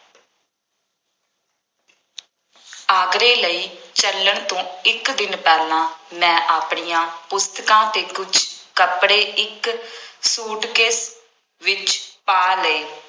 ਆਗਰੇ ਲਈ ਚੱਲਣ ਤੋਂ ਇੱਕ ਦਿਨ ਪਹਿਲਾਂ ਮੈਂ ਆਪਣੀਆਂ ਪੁਸਤਕਾਂ ਅਤੇ ਕੁੱਝ ਕੱਪੜੇ ਇੱਕ ਸੂਟਕੇਸ ਵਿੱਚ ਪਾ ਲਏ।